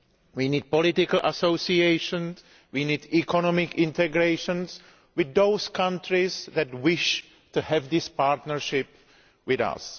We need political associations and economic integration with those countries that wish to have this partnership with us.